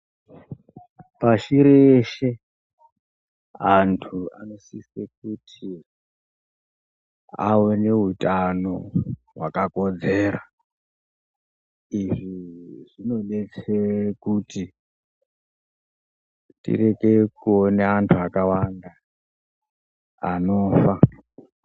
Pashi reshe antu anosise kuti aone utano hwakakodzera. Izvi zvinobetsere kuti tirekere kuona antu akawanda anofa.